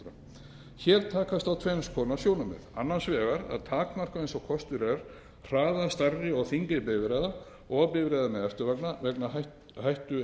klukkustundir hér takast á tvenns konar sjónarmið annars vegar að takmarka eins og kostur er hraða stærri og þyngri bifreiða og bifreiða með eftirvagna vegna hættueiginleika